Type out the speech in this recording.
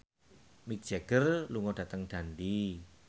Mick Jagger lunga dhateng Dundee